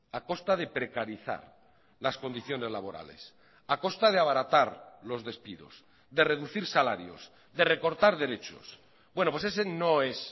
a costa de precarizar las condiciones laborales a costa de abaratar los despidos de reducir salarios de recortar derechos bueno pues ese no es